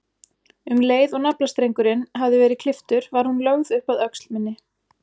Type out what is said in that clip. Um leið og naflastrengurinn hafði verið klipptur var hún lögð upp að öxl minni.